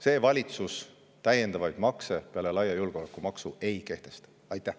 See valitsus täiendavaid makse peale laia julgeolekumaksu ei kehtesta.